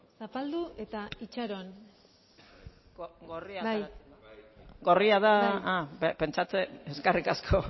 zapaldu eta itxaron gorria da ah pentsatzen eskerrik asko